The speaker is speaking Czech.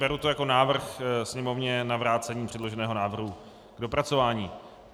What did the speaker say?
Beru to jako návrh Sněmovně na vrácení předloženého návrhu k dopracování.